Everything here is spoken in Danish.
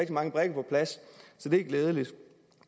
mange brikker på plads så det er glædeligt